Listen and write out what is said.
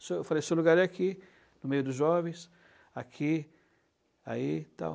seu, eu falei, seu lugar é aqui, no meio dos jovens, aqui, aí e tal.